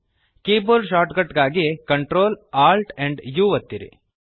keyboard shortcut ಗಾಗಿ Ctrl Alt amp U ಒತ್ತಿರಿ